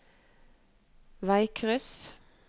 veikryss